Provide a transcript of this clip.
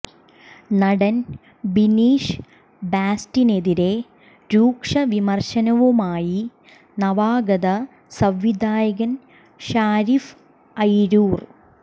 നടൻ ബിനീഷ് ബാസ്റ്റിനെതിരേ രൂക്ഷ വിമർശനവുമായി നവാഗത സംവിധായകൻ ഷാരിഫ് അയിരൂർ